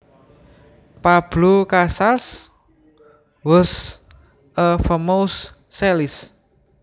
Pablo Casals was a famous cellist